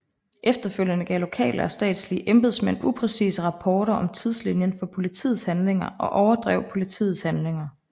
Efterfølgende gav lokale og statslige embedsmænd upræcise rapporter om tidslinjen for politiets handlinger og overdrev politiets handlinger